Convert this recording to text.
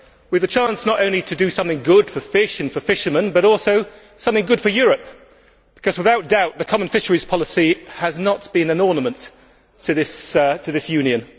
We have a chance not only to do something good for fish and for fishermen, but also something good for Europe, because without doubt the common fisheries policy has not been an ornament to this Union.